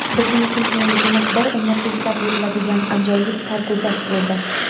Bizning chempionligimiz bir umr eslab yuriladigan ajoyib sarguzasht bo‘ldi.